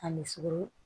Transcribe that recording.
A misiro